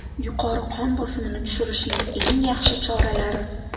Yuqori qon bosimini tushirishning eng yaxshi choralari.